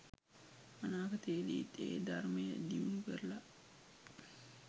අනාගතයේදීත් ඒ ධර්මය දියුණු කරල